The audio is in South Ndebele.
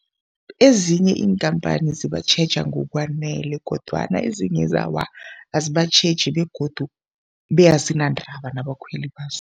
Ezinye iinkhamphani zibatjheja ngokwanele kodwana ezinyezi awa, azibatjheji begodu be azinandaba nabakhweli bazo.